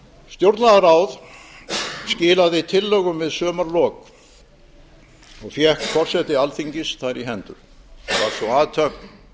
stjórnlagaráð skilaði tillögum við sumarlok og fékk forseti alþingis þær í hendur var sú athöfn